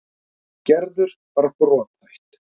Gerður var brothætt.